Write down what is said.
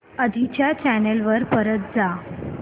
आधी च्या चॅनल वर परत जा